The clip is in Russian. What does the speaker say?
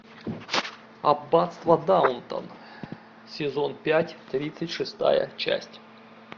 аббатство даунтон сезон пять тридцать шестая часть